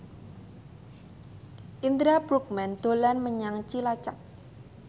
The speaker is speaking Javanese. Indra Bruggman dolan menyang Cilacap